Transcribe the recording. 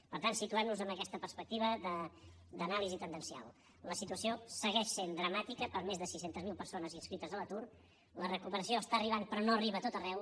per tant situem nos en aquesta perspectiva d’anàlisi tendencial la situació segueix sent dramàtica per a més de sis cents miler persones inscrites a l’atur la recuperació arriba però no arriba a tot arreu